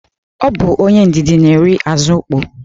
Ọ bụ onye ndidi na-eri azụ ukpoo.